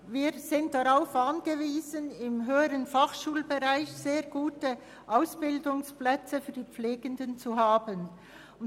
Wir sind darauf angewiesen, im höheren Fachschulbereich sehr gute Ausbildungsplätze für die Pflegeberufe anzubieten.